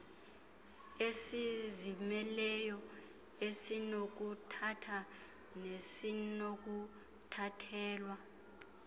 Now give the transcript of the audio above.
esizimeleyo esinokuthatha nesinokuthathelwa